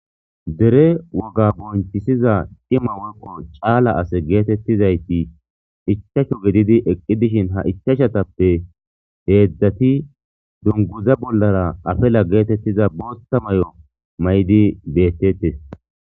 Dere wogga biponichisidda cima woyi calla assati eqizayiti ichashu gididi eqidi dishini ha ichashatappe hedzati dunuguza bollara afala getetizatissa botha mayo mayidi betetesi